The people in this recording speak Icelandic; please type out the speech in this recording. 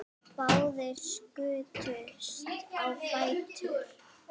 Báðir skutust á fætur.